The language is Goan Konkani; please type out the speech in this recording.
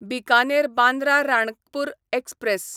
बिकानेर बांद्रा राणकपूर एक्सप्रॅस